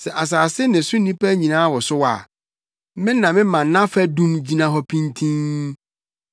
Sɛ asase ne so nnipa nyinaa wosow a, me na mema nʼafadum gyina hɔ pintinn.